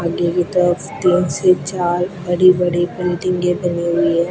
आगे की तरफ तीन से चार बड़ी बड़ी बिल्डिंगे बनी हुई है।